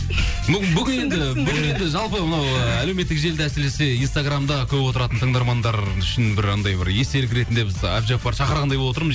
бүгін енді жалпы мынау ы әлеуметтік желіде әсіресе инстаграмда көп отыратын тыңдармандар үшін бір анандай бір естелік ретінде біз әбдіжаппарды шақырғандай болып отырмыз